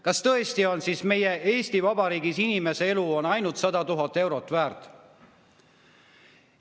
Kas tõesti on meie Eesti Vabariigis inimese elu ainult 100 000 eurot väärt?